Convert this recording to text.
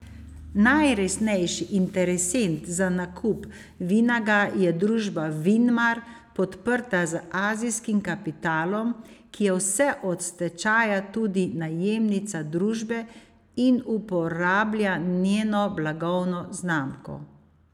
Najresnejši interesent za nakup Vinaga je družba Vinmar, podprta z azijskim kapitalom, ki je vse od stečaja tudi najemnica družbe in uporablja njeno blagovno znamko.